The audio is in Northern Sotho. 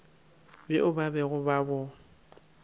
bjo ba bego ba bo